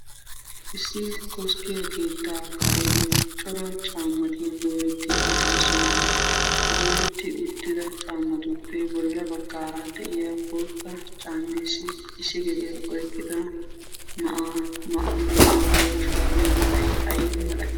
Issi koskke keetta kareeni cora caammatti dooretti uttidosona dooretti uttidda caammatuppe bolla bagara de'iyaa bootta caammessi issi gediyaa oyqida na'ay mayddo maayuwaa shurabbiya meray ay malati?